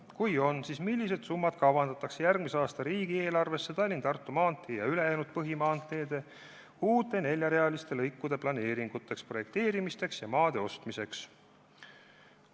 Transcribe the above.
Kui on, siis millised summad kavandatakse järgmise aasta riigieelarvesse Tallinna–Tartu maantee ning ülejäänud põhimaanteede uute neljarealiste lõikude planeeringuteks, projekteerimiseks ja maade ostmiseks?